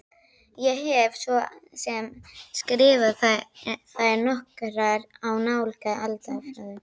Ég hef svo sem skrifað þær nokkrar í nálega aldarfjórðung.